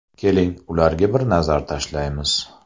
Keling, ularga bir nazar tashlaymiz.